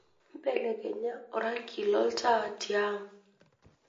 belekenya orangi lontaa tiang